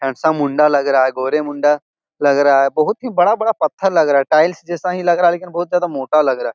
Handsome मुंडा लग रहा है गोरे मुंडा लग रहा है। बहुत ही बड़ा-बड़ा पत्थर लग रहा है टाइल्स जैसा ही लग रहा है लेकिन बहुत ज्यादा मोटा लग रहा है।